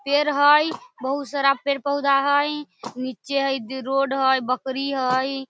पेड़ हई बहुत सारा पेड़-पौधा हई नीचे हेइ रोड हई बकरी हई।